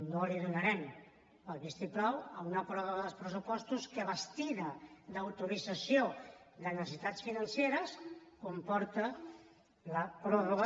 no li donarem el vistiplau a una pròrroga dels pressupostos que vestida d’autorització de necessitats financeres comporta la pròrroga